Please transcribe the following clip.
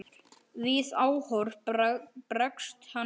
Við áhorf bregst hann við.